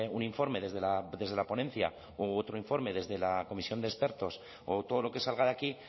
un informe desde la ponencia u otro informe desde la comisión de expertos o todo lo que salga de aquí